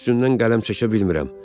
Üstündən qələm çəkə bilmirəm.